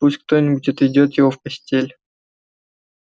пусть кто-нибудь отведёт его в постель